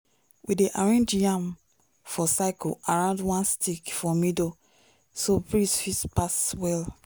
we dey arrange yam for circle around one stick for middle so breeze fit pass well.